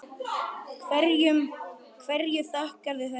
Hverju þakkarðu þetta?